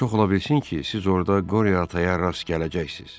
Çox ola bilsin ki, siz orda Qoria Ataya rast gələcəksiz.